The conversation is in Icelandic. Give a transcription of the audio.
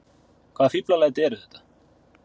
Hvaða fíflalæti eru þetta!